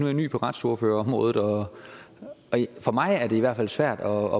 jeg ny på retsordførerområdet og for mig er det i hvert fald svært at